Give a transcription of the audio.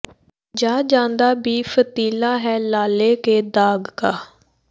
ਯਾਂ ਜਾਦਾ ਭੀ ਫ਼ਤੀਲਾ ਹੈ ਲਾਲੇ ਕੇ ਦਾਗ਼ ਕਾ